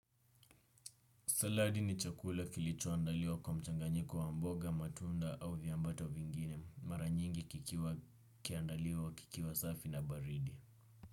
Saladi ni chakula kilichoandaliwa kwa mchanganyiko wa mboga, matunda au viambato vingine. Maranyingi kikiwa kiandaliwa kikiwa safi na baridi.